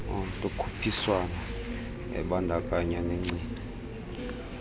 lokhuphiswano ebandakanya negcina